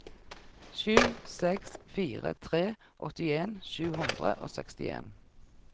sju seks fire tre åttien sju hundre og sekstien